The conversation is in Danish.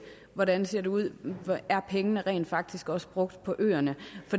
hvordan det ser ud om pengene rent faktisk også er brugt på øerne